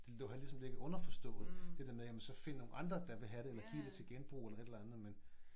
Det lå har ligesom ligget underforstået det der med jamen så find nogen andre der vil have det eller giv det til genbrug eller et eller andet men